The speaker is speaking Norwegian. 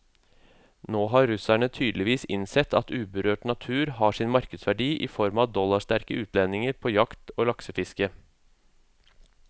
Nå har russerne tydeligvis innsett at uberørt natur har sin markedsverdi i form av dollarsterke utlendinger på jakt og laksefiske.